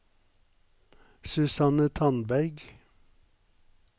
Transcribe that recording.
Susanne Tandberg